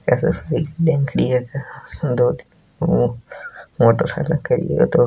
इसमें एक बहन खड़ी है दो मोटरसाइकिल खड़ी है।